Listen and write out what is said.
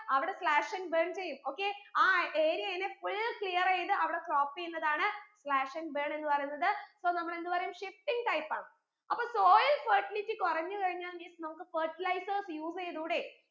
അവിടെ slash and burn ചെയ്യും okay ആ area യിൽ full clear എയ്ത് അവിടെ crop എയ്യുന്നതാണ് slash and burn എന്ന് പറയുന്നത് so നമ്മൾ എന്ത് പറയും shifting type ആണ് അപ്പൊ soil fertility കുറഞ്ഞു കഴിഞ്ഞാൽ means നമുക്ക് fertilizers use ചെയ്തൂടെ